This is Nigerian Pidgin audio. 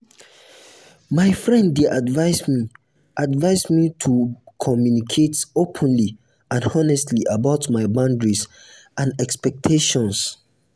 my friend dey advise me advise me to communicate openly and honestly about my boundaries and expectations.